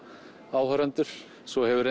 áhorfendur svo hefur